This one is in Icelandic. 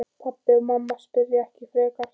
Pabbi og mamma spyrja ekki frekar.